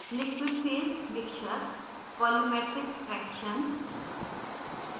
liquid phase mixture volumetric fraction